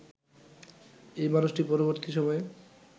এই মানুষটি পরবর্তী সময়ে